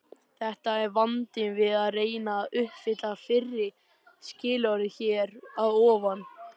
Þetta er vandinn við að reyna að uppfylla fyrra skilyrðið hér að ofan.